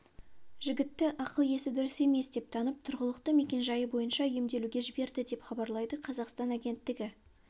жігітті ақыл-есі дұрыс емес деп танып тұрғылықты мекенжайы бойынша емделуге жіберді деп хабарлайды қазақстан агенттігі